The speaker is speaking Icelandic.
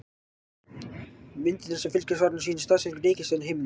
Myndirnar sem fylgja svarinu sýna staðsetningar reikistjarna á himninum.